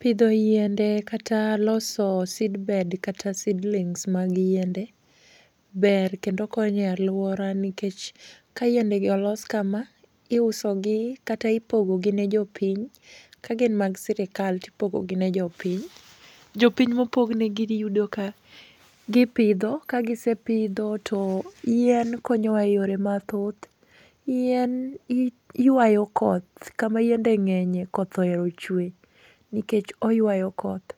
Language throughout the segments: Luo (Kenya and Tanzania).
Pidho yiende kata loso seedbed kata seedlings moko mag yiende, ber kendo konyo e aluora nikech kayiende gi olos kama, iusogi kata ipogo gi ne jopiny ka gin mag sirkal to ipogo negi gin jopiny. Jopiny mopognigi iyudo ka gipidho, ka gisepidho to yien konyowa eyore mathoth. Yien yuayo koth, kama yiende ng'enyie koth ohero chwe, nikech oyuayo koth.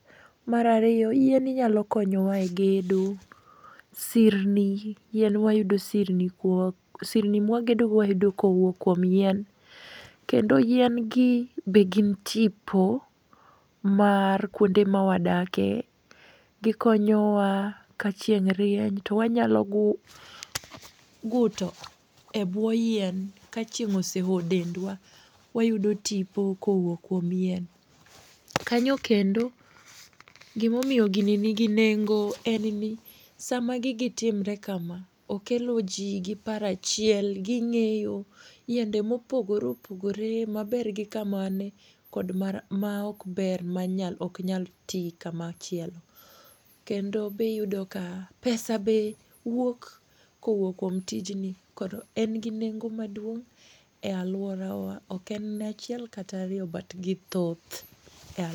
Mar ariyo, yien nyalo konyowa e gedo. Sirni yien wayudo sirni mwagedogo wayudo kowuok kuom yien. Kendo yien gi be gin tipo ma kuonde ma wadakie. Gikonyowa kachieng' rieny to wanyalo guto ebwo yien kachieng' ose olo dendwa. Wayudo tipo kowuok kuom yien. Kanyo kendo gimomiyo gini nigi nengo en ni, sama gigi timre kama, okelo ji gi paro achiel ging'eyo yiende mopogore opogore maber gi kama ne kod mar maok ber manyalo ok nyal ti kama chielo. Kendo be iyudo ka pesa be wuok kowuok kuom tijni kod en gi nengo maduong' e aluorawa ok en achiel kata ariyo but githoth eal